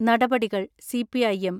നടപടികൾ CPI (M)